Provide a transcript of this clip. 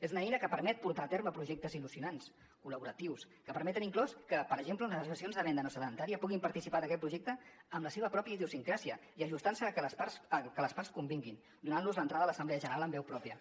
és una eina que permet portar a terme projectes engrescadors col·laboratius que permeten inclús que per exemple les associacions de venda no sedentària puguin participar d’aquest projecte amb la seva pròpia idiosincràsia i ajustant se al que les parts convinguin donant los l’entrada a l’assemblea general amb veu pròpia